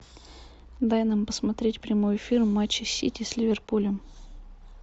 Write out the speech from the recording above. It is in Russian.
дай нам посмотреть прямой эфир матча сити с ливерпулем